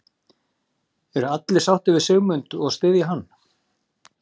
Eru allir sáttir við Sigmund og styðja hann?